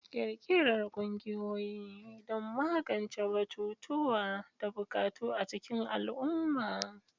Ƙirƙirar ƙungiyoyi don magance batutuwa da buƙatu a cikin al'umma.